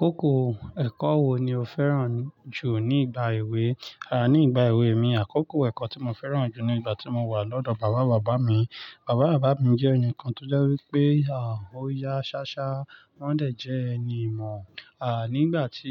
Kókò ẹ̀kọ́ wo ni o fẹ́ràn jù nígbà èwe? Àh, nígbà èwe mi, àkókò ẹ̀kọ́ tí mo fẹ́ràn jù ni ìgbà tí mo wà lọ́dọ̀ bàbá bàbá mi. Bàbá bàbá mi jẹ́ ẹnìkan tó jẹ́ wí pé, àh, ó ya ṣáṣá, wọn dẹ̀ jẹ́ ẹni ìmọ̀. Àh, nígbà tí